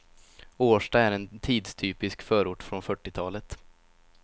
Årsta är en tidstypisk förort från fyrtiotalet.